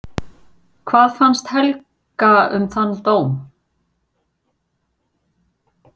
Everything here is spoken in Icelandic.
Hvað fannst Helga um þann dóm?